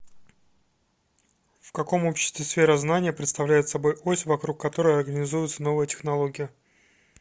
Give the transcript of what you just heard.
в каком обществе сфера знания представляет собой ось вокруг которой организуется новая технология